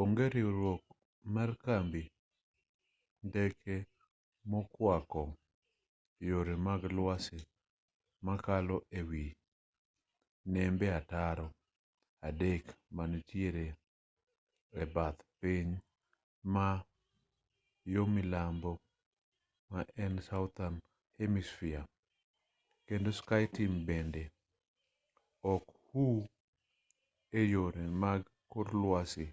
onge riwruok mar kambi ndeke mokwako yore mag lwasi makalo e wi nembe ataro adek manitiere e bath piny ma yo milambo ma en southern hemisphere kendo skyteam bende ok huu e yore mag kor lwasi